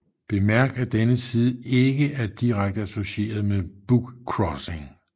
Bemærk at denne side ikke er direkte associeret med bookcrossing